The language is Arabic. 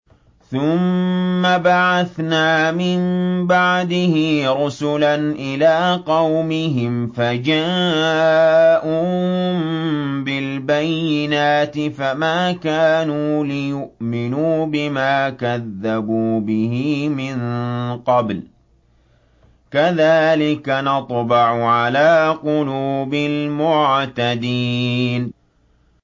ثُمَّ بَعَثْنَا مِن بَعْدِهِ رُسُلًا إِلَىٰ قَوْمِهِمْ فَجَاءُوهُم بِالْبَيِّنَاتِ فَمَا كَانُوا لِيُؤْمِنُوا بِمَا كَذَّبُوا بِهِ مِن قَبْلُ ۚ كَذَٰلِكَ نَطْبَعُ عَلَىٰ قُلُوبِ الْمُعْتَدِينَ